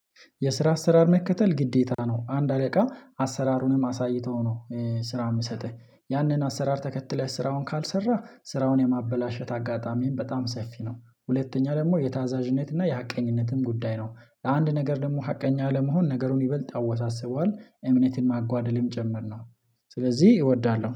የስራ አሰራር መከተል ግዴታ ነው አንድ አለቃ አሰራሩንም አሳይተው ነው ስራ የሚሰጥህ ያንን አሰራር ተከትለህ ስራውን ካልሰራህ ስራውን የማበላሸት አጋጣሚም በጣም ሰፊ ነው። ሁለተኛ ደግሞ የታዛዥነት እና የሀቀኝነትም ጉዳይ ነው ለአንድ ነገር ደግሞ ሀቀኛ ለመሆን ነገሩን ይበልጥ ያወሳስበዋል እምነትን ማጓደልም ጭምርነው። ስለዚህ እወዳለሁ